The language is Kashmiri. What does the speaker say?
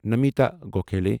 نمیتا گوکھالی